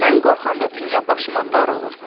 Mən qorxanda dünya başıma dar olur.